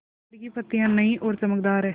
पेड़ की पतियां नई और चमकदार हैँ